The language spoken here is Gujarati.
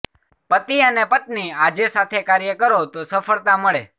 પતિ અને પત્ની આજે સાથે કાર્ય કરો તો સફળતા મળે